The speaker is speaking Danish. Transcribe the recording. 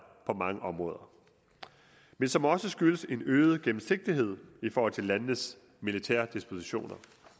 på mange områder men som også skyldes en øget gennemsigtighed i forhold til landenes militære dispositioner